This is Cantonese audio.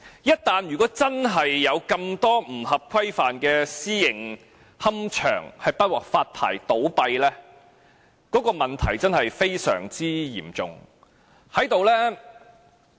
一旦真的有這麼多不合規範的私營龕場不獲發牌而倒閉，問題確實非常嚴重。